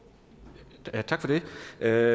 at